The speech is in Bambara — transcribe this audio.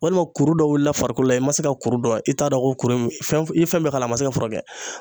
Walima kuru dɔ wulila farikolo la i ma se ka kuru dɔn i t'a dɔn ko kuru ye min ye fɛn i ye fɛn bɛɛ k'a la a ma se ka furakɛ